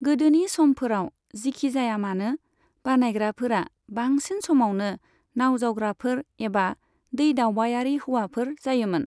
गोदोनि समफोराव, जिखिजायामानो, बानायग्राफोरा बांसिन समावनो नावजावग्राफोर एबा दैदावबायारि हौवाफोर जायोमोन।